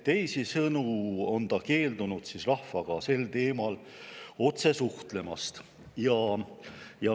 Teisisõnu on ta keeldunud rahvaga sel teemal otse suhtlemast.